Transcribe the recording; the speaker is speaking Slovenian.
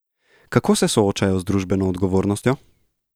Kako se soočajo z družbeno odgovornostjo?